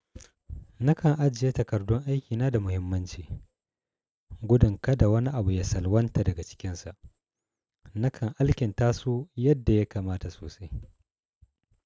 Nakan ajiye takardun aikina da muhimmanci. Gudun kada wani abu ya salwanta daga cikinsa, nakan alkinta su yadda ya kamata sosai.